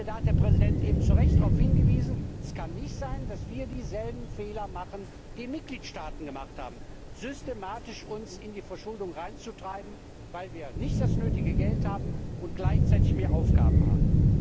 Ich finde, darauf hat der Präsident eben zu Recht hingewiesen Es kann nicht sein, dass wir dieselben Fehler machen, die Mitgliedstaaten gemacht haben, systematisch uns in die Verschuldung hineinzutreiben, weil wir nicht das nötige Geld haben und gleichzeitig mehr Aufgaben haben.